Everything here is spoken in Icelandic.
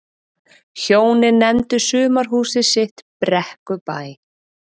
Hjónin nefndu sumarhúsið sitt Brekkubæ.